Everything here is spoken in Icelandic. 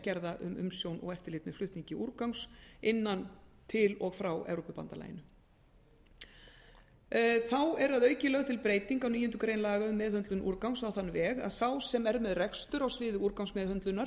gerða um umsjón og eftirlit með flutningi úrgangs innan til og frá evrópubandalaginu þá er að auki lögð til breyting á níundu grein laga um meðhöndlun úrgangs á þann veg að sá sem er með rekstur á sviði úrgangsmeðhöndlunar